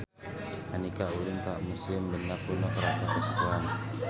Andika ulin ka Museum Benda Kuno Keraton Kasepuhan